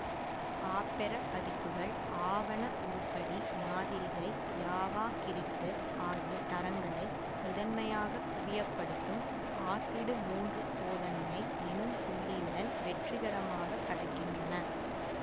Opera பதிப்புகள் ஆவண உருப்படி மாதிரிகை யாவாக்கிறிட்டு ஆகிய தரங்களை முதன்மையாக குவியப்படுத்தும் ஆசிடு மூன்று சோதனையை எனும் புள்ளியுடன் வெற்றிகரமாக கடக்கின்றன